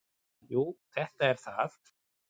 """Jú, þetta er það."""